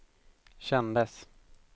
kändes